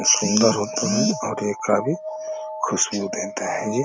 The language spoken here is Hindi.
सूंदर होते हैं और ये काफी खुशबू देते हैं ये --